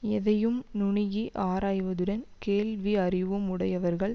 எதையும் நுணுகி ஆராய்வதுடன் கேள்வி அறிவும் உடையவர்கள்